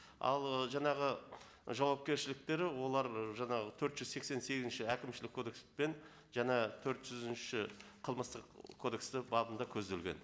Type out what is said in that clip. ал ы жаңағы жауапкершіліктері олар жаңағы төрт жүз сексен сегізінші әкімшілік кодекс пен жаңа төрт жүзінші қылмыстық кодексте бабында көзделген